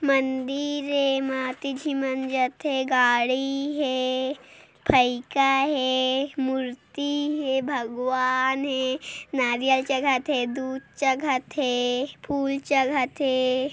मंदिर है एमा अति झीन मन जाथे गाड़ी हे फइका हे मूर्ति हे भगवान हे नारियल चघत हे दूध चघत हे फुल चघत हे।